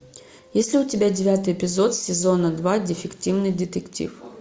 есть ли у тебя девятый эпизод сезона два дефективный детектив